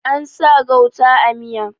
An sa gauta a miya